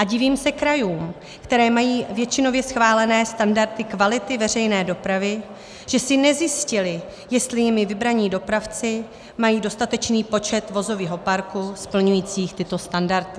A divím se krajům, které mají většinově schválené standardy kvality veřejné dopravy, že si nezjistily, jestli jimi vybraní dopravci mají dostatečný počet vozového parku splňujících tyto standardy.